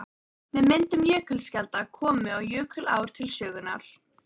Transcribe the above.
Með myndun jökulskjalda komu og jökulár til sögunnar.